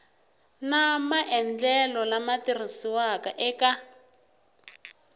na maendlelo lama tirhisiwaka eka